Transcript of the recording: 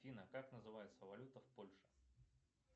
афина как называется валюта в польше